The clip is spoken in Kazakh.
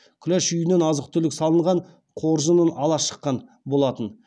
күләш үйінен азық түлік салынған қоржынын ала шыққан болатын